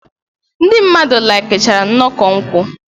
Ndị mmadụ laikichara nnọkọ nkwụ.